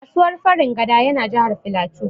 Kasuwar Farin gada ya na Jahar Filatu